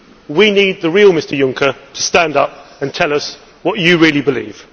We need the real Mr Junker to stand up and tell us what you really believe.